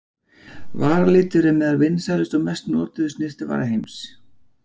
Varalitur er meðal vinsælustu og mest notuðu snyrtivara heims.